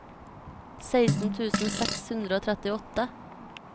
seksten tusen seks hundre og trettiåtte